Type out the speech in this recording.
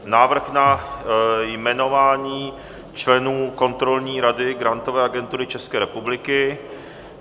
Návrh na jmenování členů Kontrolní rady Grantové agentury České republiky